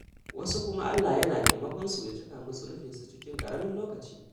Wasu kuma Allah yana taimakonsu ya cika musu nufinsu cikin ƙaramin lokaci.